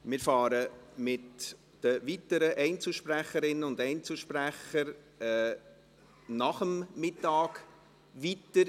Wir fahren mit den weiteren Einzelsprecherinnen und Einzelsprechern nach der Mittagspause weiter.